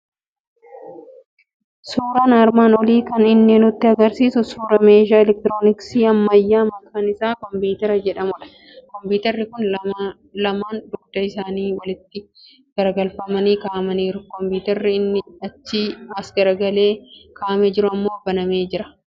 Suuraan armaan olii kan inni nutti argisiisu suuraa meeshaa elektirooniksii ammayyaa maqaan isaa kompiitara jedhamudha. Kompiitarri kun lamaan dugda isaanii walitti garagalfamanii kaa'amaniiru. Kompiitarri inni achii as garagalee kaa'amee jiru immoo banamee jira.